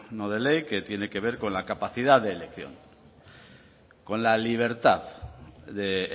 no de ley que tiene que ver con la capacidad de elección con la libertad de